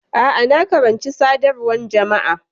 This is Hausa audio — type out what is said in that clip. A'a, na karanci Sadarwan Jama'a.